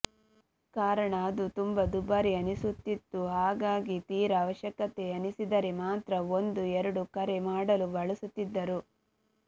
ಕಾರಣ ಅದು ತುಂಬಾ ದುಬಾರಿ ಅನಿಸುತ್ತಿತ್ತು ಹಾಗಾಗಿ ತೀರಾ ಅವಶ್ಯಕತೆ ಅನಿಸಿದರೆ ಮಾತ್ರ ಒಂದೋ ಎರಡೋ ಕರೆ ಮಾಡಲು ಬಳಸುತ್ತಿದ್ದರು